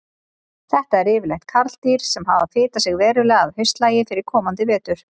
Þetta eru yfirleitt karldýr sem hafa fitað sig verulega að haustlagi fyrir komandi vetur.